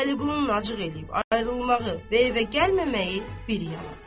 Vəliqulunun acıq eləyib ayrılmağı, və evə gəlməməyi bir yanan.